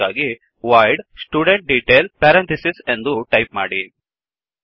ಅದಕ್ಕಾಗಿ void studentDetail ಎಂದು type ಮಾಡಿ